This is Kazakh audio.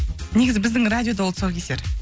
негізі біздің радиода ол тұсаукесер